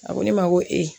A ko ne ma ko ee